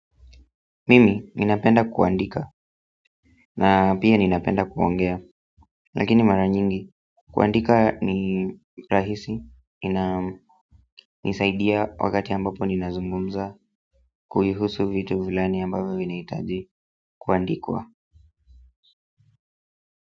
Mimi ninapenda kuandika na pia ninapenda kuongea lakini mara nyingi kuandika ni rahisi na nisaidia wakati ambapo ninazungumza kuhusu vitu fulani ambavo vinaitaji kuandikwa.